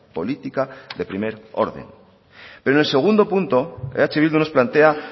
política de primer orden pero en el segundo punto eh bildu nos plantea